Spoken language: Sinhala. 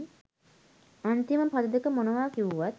අන්තිම පද දෙක මොනවා කිව්වත්